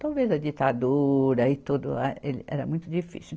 Talvez a ditadura e tudo lá, ele era muito difícil.